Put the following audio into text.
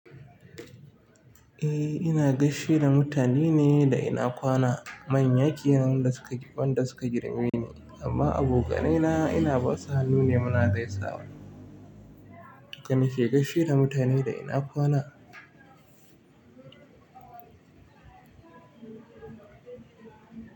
Eh ina gaishe da mutane ne da ina kwana, manyan ya kenan da suka wanda suka girme ni amma abokanai na ina basa hannu ne muna zaisawa. Haka nake gaishe da mutane da ina kwana.